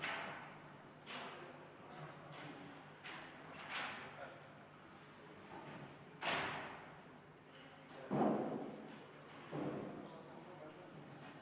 Kas Riigikogu liikmetel on hääletamise korraldamise kohta proteste?